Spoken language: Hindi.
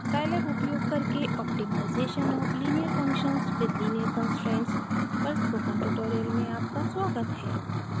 scilab उपयोग करके optimization of linear functions with linear constraints पर स्पोकन ट्यूटोरियल में आपका स्वागत है